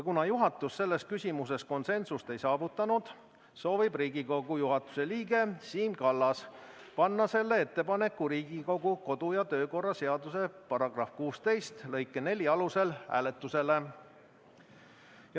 Kuna juhatus selles küsimuses konsensust ei saavutanud, soovib Riigikogu juhatuse liige Siim Kallas panna selle ettepaneku Riigikogu kodu- ja töökorra seaduse § 16 lõike 4 alusel hääletusele.